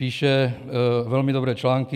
Píše velmi dobré články.